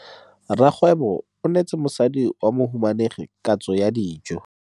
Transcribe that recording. Rragwêbô o neetsa mosadi wa mohumanegi katsô ya dijô.